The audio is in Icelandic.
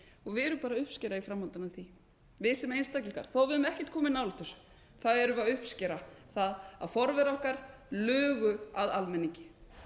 við erum bara að uppskera í framhaldinu af því við sem einstaklingar þó að við höfum ekkert komið nálægt þessu erum við að uppskera það að forverar okkar lugu að almenningi